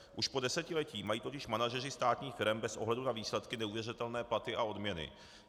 Už po desetiletí mají totiž manažeři státních firem bez ohledu na výsledky neuvěřitelné platy a odměny.